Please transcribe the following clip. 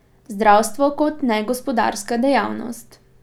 Zdravstvo kot negospodarska dejavnost?